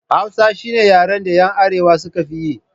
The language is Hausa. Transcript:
Hausa shine yaren da 'yan arewa suka fi yi